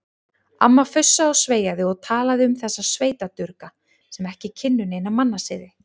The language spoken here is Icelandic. Amma fussaði og sveiaði og talaði um þessa sveitadurga sem ekki kynnu neina mannasiði.